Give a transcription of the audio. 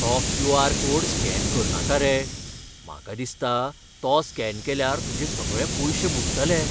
तो Q. R. Code scan करनाका रे. म्हाका दिसता, तो स्कॅन केल्यार तुजे सगळें पयशे बुडटले.